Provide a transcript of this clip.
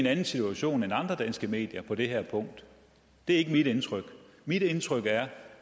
anden situation end andre danske medier på det her punkt det er ikke mit indtryk mit indtryk er